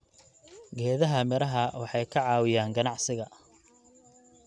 Geedaha miraha waxay ka caawiyaan ganacsiga.